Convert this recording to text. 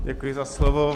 Děkuji za slovo.